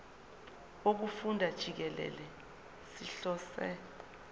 wokufunda jikelele sihlose